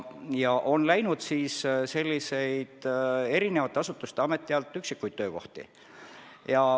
Ka on üle viidud eri asutustest-ametitest üksikuid töökohti.